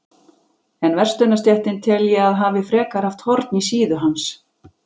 En verslunarstéttin tel ég, að hafi frekar haft horn í síðu hans.